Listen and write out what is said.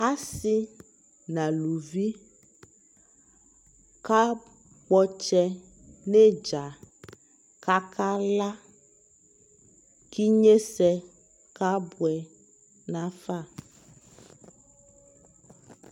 asii nʋ alʋvi ka kpɔ ɔtsɛ nʋ itza kʋ akala kʋ inyɛsɛ kabʋɛ nʋ aƒa